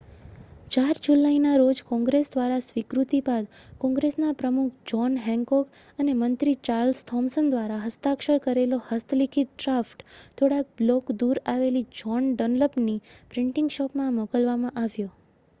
4 જુલાઈના રોજ કૉંગ્રેસ દ્વારા સ્વીકૃતિ બાદ કૉંગ્રેસના પ્રમુખ જૉહ્ન હૅન્કૉક અને મંત્રી ચાર્લ્સ થૉમ્સન દ્વારા હસ્તાક્ષર કરેલો હસ્તલિખિત ડ્રાફ્ટ થોડાક બ્લૉક દૂર આવેલી જૉહ્ન ડન્લપની પ્રિન્ટિંગ શૉપમાં મોકલવામાં આવ્યો